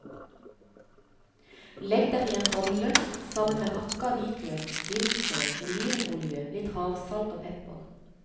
Legg dem i en bolle sammen med hakka hvitløk, dillfrø, olivenolje, litt havsalt og pepper.